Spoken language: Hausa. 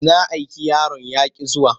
Na aiki yaron ya ƙi zuwa.